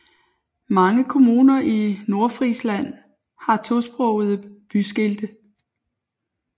Mange kommuner i Nordfrisland har tosprogede byskilte